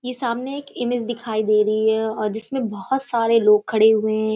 ये सामने एक इमेज दिखाई दे रही है और जिसमे बहोत सारे लोग खड़े हुए हैं।